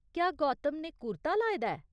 क्या गौतम ने कुर्ता लाए दा ऐ ?